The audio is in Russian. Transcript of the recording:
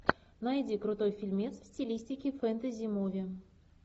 найди крутой фильмец в стилистике фэнтези муви